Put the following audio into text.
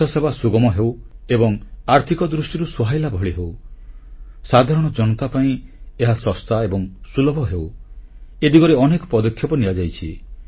ସ୍ୱାସ୍ଥ୍ୟସେବା ସୁଗମ ହେଉ ଏବଂ ଆର୍ଥିକ ଦୃଷ୍ଟିରୁ ସୁହାଇଲା ଭଳି ହେଉ ସାଧାରଣ ଜନତା ପାଇଁ ଏହା ଶସ୍ତା ଏବଂ ସୁଲଭ ହେଉ ଏ ଦିଗରେ ଅନେକ ପଦକ୍ଷେପ ନିଆଯାଇଛି